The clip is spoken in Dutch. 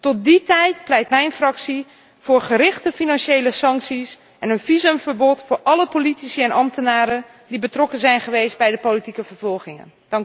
Tot die tijd pleit mijn fractie voor gerichte financiële sancties en een visumverbod voor alle politici en ambtenaren die betrokken zijn geweest bij de politieke vervolgingen.